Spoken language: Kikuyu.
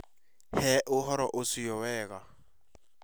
Hee ũhoro ũcio wega